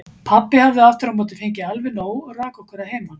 Pabbi hafði aftur á móti fengið alveg nóg og rak okkur að heiman.